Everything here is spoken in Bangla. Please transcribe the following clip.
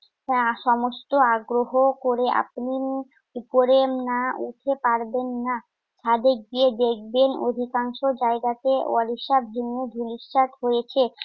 আহ সমস্ত আগ্রহ করে আপনি উম উপরে না উঠে পারবেন না। ছাদে গিয়ে দেখবেন অধিকাংশ জায়গাতে ওড়িশ্যা ভিন্ন ধূলিসাৎ হয়েছে।